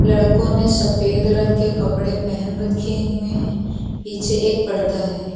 लड़कों ने सफेद रंग के कपड़े पहन रखे हुए हैं पीछे एक पड़दा है।